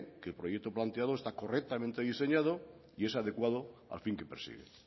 que el proyecto planteado está correctamente diseñado y es adecuado al fin que persigue